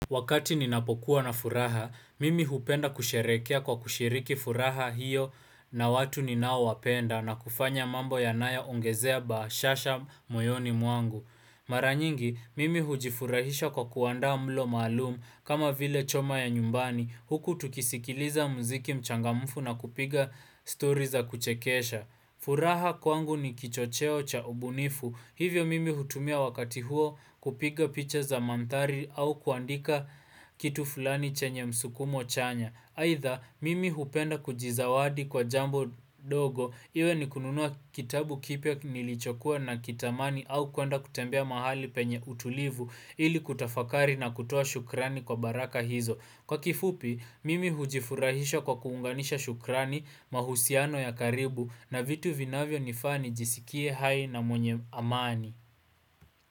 Wakati ninapokuwa na furaha, mimi hupenda kusherekea kwa kushiriki furaha hiyo na watu ninao wapenda na kufanya mambo yanayo ongezea bashasha moyoni mwangu. Maranyingi, mimi hujifurahisha kwa kuanda mlo malumu kama vile choma ya nyumbani huku tukisikiliza mziki mchangamufu na kupiga stories za kuchekesha. Furaha kwangu ni kichocheo cha ubunifu. Hivyo mimi hutumia wakati huo kupiga picha za mantari au kuandika kitu fulani chenye msukumo chanya. Haitha mimi hupenda kujizawadi kwa jambo dogo iwe ni kununua kitabu kipia nilichokua na kitamani au kuanda kutembea mahali penye utulivu ili kutafakari na kutoa shukrani kwa baraka hizo. Kwa kifupi, mimi hujifurahisha kwa kuunganisha shukrani, mahusiano ya karibu na vitu vinavyo nifani jisikie hai na mwenye amani.